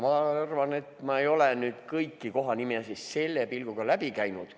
Ma ei ole ilmselt kõiki kohanimesid selle pilguga läbi käinud.